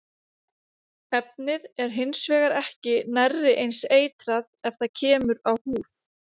Efnið er hins vegar ekki nærri eins eitrað ef það kemur á húð.